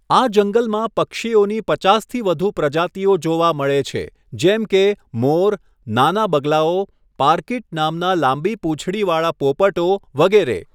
આ જંગલમાં પક્ષીઓની પચાસથી વધુ પ્રજાતિઓ જોવા મળે છે જેમ કે મોર, નાના બગલાઓ, પારકીટ નામના લાંબી પૂંછડી વાળા પોપટો વગેરે.